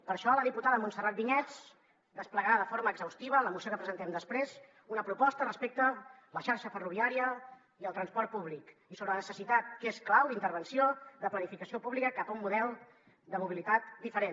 per això la diputada montserrat vinyets desplegarà de forma exhaustiva en la moció que presentem després una proposta respecte a la xarxa ferroviària i el transport públic i sobre la necessitat que és clau d’intervenció de planificació pública cap a un model de mobilitat diferent